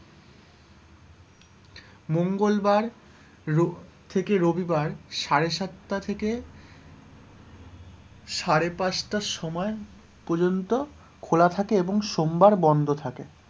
মঙ্গলবার রো থেকে রবিবার সাড়ে সাতটা থেকে সাড়ে পাঁচটা সময় পর্যন্ত খোলা থাকে এবং সোমবার বন্ধ থাকে,